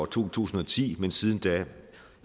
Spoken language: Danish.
to tusind og ti men siden da